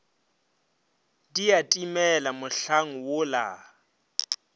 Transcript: di a timela mohlang wola